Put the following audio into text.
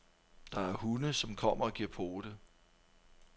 Der er hunde, som kommer og giver pote.